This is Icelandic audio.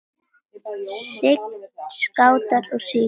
Sign, Skátar og Sykur.